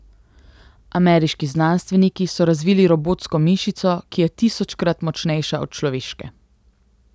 Ameriški znanstveniki so razvili robotsko mišico, ki je tisočkrat močnejša od človeške.